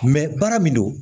baara min don